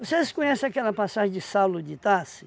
Vocês conhecem aquela passagem de Saulo de Itachi?